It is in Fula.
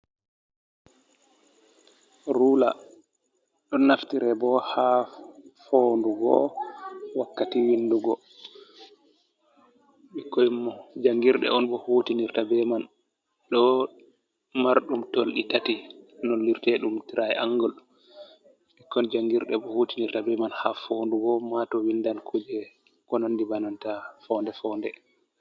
Rula, ɗo naftire bo ha fonndugo wakkati windugo. Ɓikkoi jangirɗe on bo hutinirta be man. Ɗon marɗum tolɗi tati lollirte ɗum trai angul. Ɓikkon jangirɗe bo hutinirta be man ha fonndugo, ma to windan kuje konandi bananta fonnde-fonnde.